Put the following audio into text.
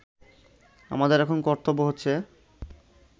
আমাদের এখন কর্তব্য হচ্ছে